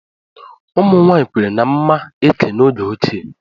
Ụmụ nwanyị kweere na mma eke n'oge ochie.